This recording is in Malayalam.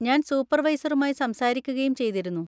ഞാൻ സൂപ്പർവൈസറുമായി സംസാരിക്കുകയും ചെയ്തിരുന്നു.